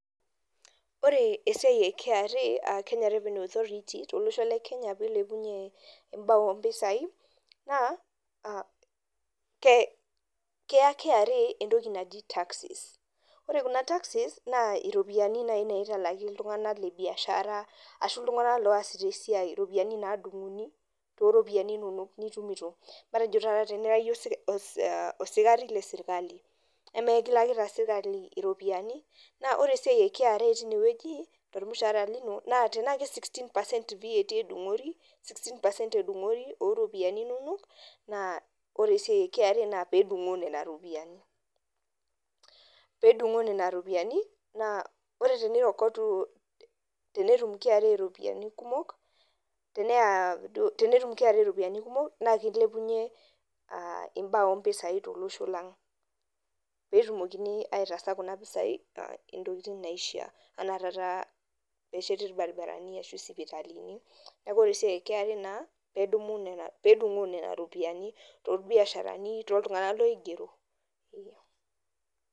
Ore esiai e KRA aa Kenya Revenue Authority tolosho le Kenya pee eilepunye imbaa oo mpisai, naa keya KRA entoki naji Taxes. Ore kuna taxes naa iropiani naitalaki iltung'ana le biashara ashu iltung'ana oasita esiai, iropiani naadung'i too iropiani inono nitumito, matejo taata tenira iyie osikari le serkali, emekilakita sirkali iropiani. Naa ore esiai e KRA teine wueji tolmushaara lino, naa tanaa sixteen percent VAT edung'ori oo iropiani inono naa ore KRA nadung'oo nena ropiani, pedung'oo nena ruiani naa ore teneirokotu tenetum KRA iropiani kumok, naa keilepunye imbaa oo mpisai tolosho lang' pee etumokini aitaasa kuna pisai tolosho lang'. Neetumokini aitaasa kuna pisai taata intokitin naishaa anaa taata pesheti ilbarabarani ashu isipitalini, neaku ore esiai e KRA naa naa pedung'oo nena ropian tolbiasharani, tooltung'ana oigero.